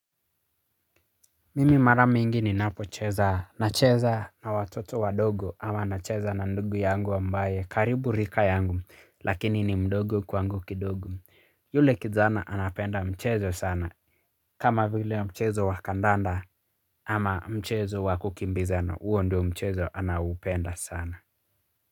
Mimi mara mingi ninapocheza na cheza na watoto wandogo ama na cheza na ndugu yangu wa ambaye karibu rika yangu lakini ni mdogo kwangu kidogo yule kijana anapenda mchezo sana kama vile mchezo wa kadanda ama mchezo wa kukimbizana huo ndio mchezo anaoupenda sana.